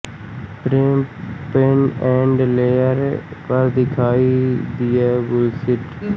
प्रेम पेन and trailer पर दिखाई दिया बुलशिट